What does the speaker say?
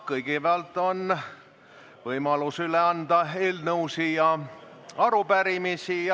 Kõigepealt on võimalus üle anda eelnõusid ja arupärimisi.